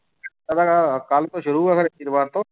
ਕੱਲ੍ਹ ਤੋਂ ਸ਼ੁਰੂ ਆ ਫਿਰ ਵੀਰਵਾਰ ਤੋਂ।